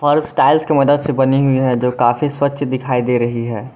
Fars tiles की मदद से बनी हुई है जो काफी स्वच्छ दिखाई दे रही है।